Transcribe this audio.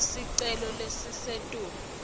kufaka sicelo selusito